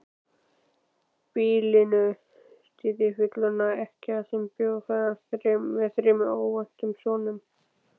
Býlinu stýrði fullorðin ekkja sem bjó með þremur ókvæntum sonum.